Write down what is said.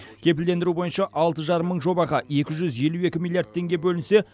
кепілдендіру бойынша алты жарым мың жобаға екі жүз елу екі миллиард теңге бөлінсе